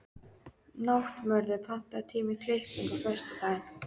Náttmörður, pantaðu tíma í klippingu á föstudaginn.